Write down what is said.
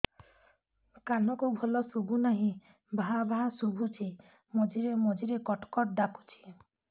କାନକୁ ଭଲ ଶୁଭୁ ନାହିଁ ଭାଆ ଭାଆ ଶୁଭୁଚି ମଝିରେ ମଝିରେ କଟ କଟ ଡାକୁଚି